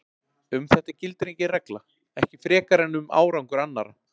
Um þetta gildir engin regla, ekki frekar en um árangur annarra.